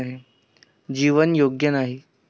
जीवन योग्य नाही.